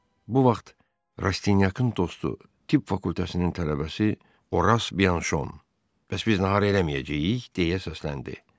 Bu vaxt Rastinyakın dostu, tibb fakültəsinin tələbəsi Oras Bianşon, “Bəs biz nahar eləməyəcəyik?” deyə səsləndi.